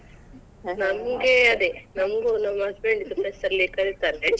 ನಂಗೆ ಅದೇ ನಮ್ಗು ನಮ್ husband ದು press ಅಲ್ಲಿ ಕರೀತಾರೆ.